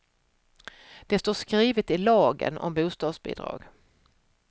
Det står skrivet i lagen om bostadsbidrag.